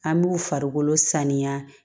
An b'u farikolo saniya